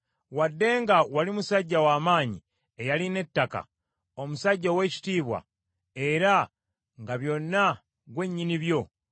wadde nga wali musajja wa maanyi, eyalina ettaka, omusajja ow’ekitiibwa, era nga byonna ggwe nnyini byo.